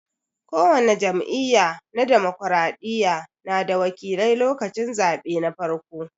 Ko wani jam'iyya na dimokiraɗiya na da wakilai lokacin zaɓe na farko.